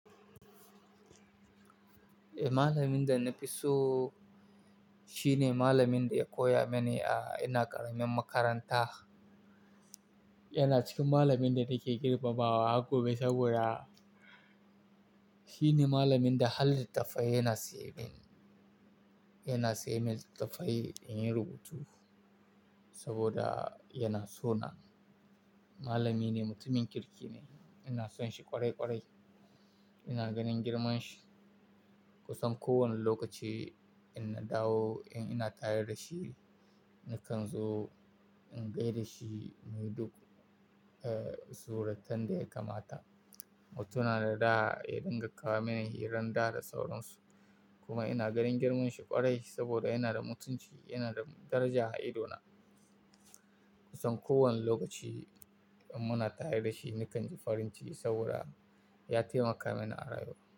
Eh, malamin da na fi so shi ne malamin da ya koya mini a ina ƙaramin makaranta. Yana cikin malamin da nake girmamawa har gobe saboda shi ne malamin da halittafai yana saye min. Yana saye min littafai in yi rubutu saboda yana so nan. Malamin ne, mutumin kirki ne. Ina son shi ƙwarai ƙwarai. Ina ganin girman shi. Kusan kowane lokaci in na dawo in ina tare da shi, nakan zo in gai da shi muyi duk, eh, suratan da ya kamata. Mutum yana da ɗa ya dinga kawo mini hiran ɗa da sauransu. Kuma ina ganin girman shi ƙwarai saboda yana da mutunci, yana da daraja a idona. Kusan kowane lokaci in muna tare da shi nakan ji farin ciki saboda ya taimaka mini a rayuwa.